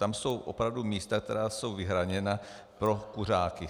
Tam jsou opravdu místa, která jsou vyhrazena pro kuřáky.